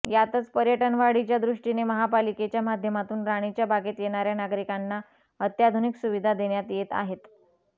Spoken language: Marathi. यातच पर्यटनवाढीच्या दृष्टीने महापालिकेच्या माध्यमातून राणीच्या बागेत येणाऱ्या नागरिकांना अत्याधुनिक सुविधा देण्यात येत आहेत